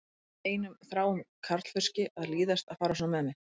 Á einum þráum karlfauski að líðast að fara svona með mig?